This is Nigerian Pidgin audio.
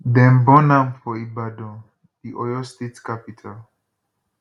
dem born am for ibadan di oyo state capital